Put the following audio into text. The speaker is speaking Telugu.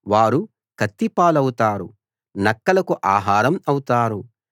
వారు కత్తి పాలవుతారు నక్కలకు ఆహారం అవుతారు